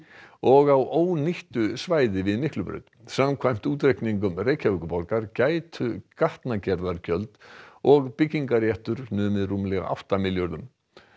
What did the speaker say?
og á ónýttu svæði við Miklubraut samkvæmt útreikningum Reykjavíkurborgar gætu gatnagerðargjöld og byggingarréttur numið rúmlega átta milljörðum